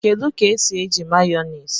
Kedu ka esi eji Mayonezi